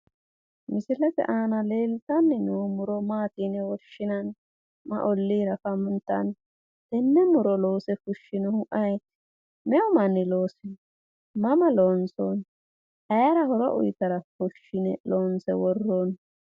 Misilete aana leltanni noo muro maati yine woshshinanni? Ma olliira afantanno? Tenne muro loose fushshinohu ayeeti? Meu manni loosino ? Mama loonsoonni? ayera horo uyitara fushshune loonse worroonni?